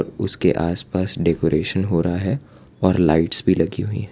उसके आसपास डेकोरेशन हो रहा है और लाइट्स भी लगी हुई है।